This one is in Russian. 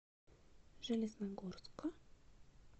железногорска